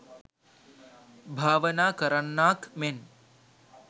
භාවනා කරන්නාක් මෙන්